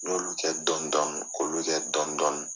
N y'olu kɛ dɔni dɔni k'olu tɛ dɔni dɔni.